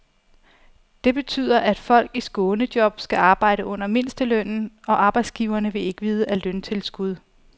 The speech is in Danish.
Det betyder, at folk i skånejob skal arbejde under mindstelønnen, og arbejdsgiverne vil ikke vide af løntilskud.